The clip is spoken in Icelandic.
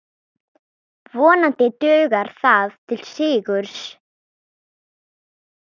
Vonandi dugar það til sigurs.